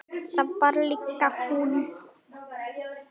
Það var líka hún.